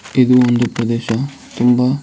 ಇದು ಒಂದು ಪ್ರದೇಶ ತುಂಬ --